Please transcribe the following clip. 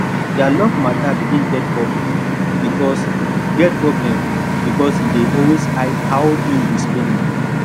their love matter begin get problem because get problem because he dey always hide how him dey spend money